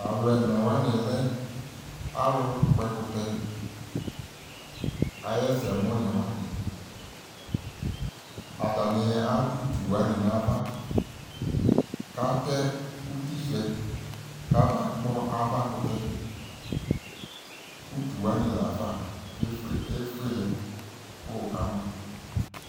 Talʋ ɛnawanɩ lɛ alʋkpɔɛkʋtɛ ayɛsɛmʋnɩ wanɩ Atatanɩ adʋ utuwanɩ n'ava katɛ utisʋɛ kamakpɔ avakʋtɛ Utuwanɩ lafa efue efuelɛ kʋ wʋka mʋ